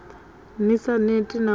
ni sa neti na u